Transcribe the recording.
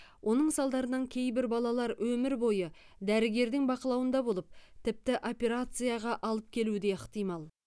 оның салдарынан кейбір балалар өмір бойы дәрігердің бақылауында болып тіпті операцияға алып келуі де ықтимал